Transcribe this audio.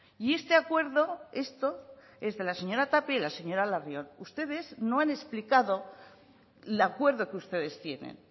y este acuerdo esto es de la señora tapia y la señora larrion ustedes no han explicado el acuerdo que ustedes tienen